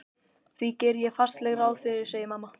Því geri ég fastlega ráð fyrir, segir mamma.